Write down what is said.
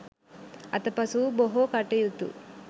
අතපසු වූ බොහෝ කටයුතු